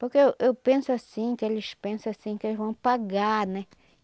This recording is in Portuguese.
Porque eu eu penso assim, que eles pensa assim que eles vão pagar, né?